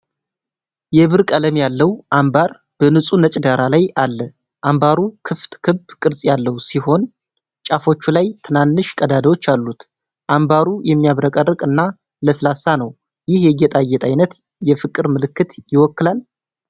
የብር ቀለም ያለው አምባር በንፁህ ነጭ ዳራ ላይ አለ። አምባሩ ክፍት ክብ ቅርጽ ያለው ሲሆን ጫፎቹ ላይ ትናንሽ ቀዳዳዎች አሉት። አምባሩ የሚያብረቀርቅ እና ለስላሳ ነው። ይህ የጌጣጌጥ ዓይነት የፍቅር ምልክት ይወክላል?